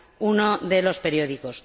uno de los periódicos.